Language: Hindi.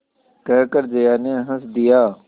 कहकर जया ने हँस दिया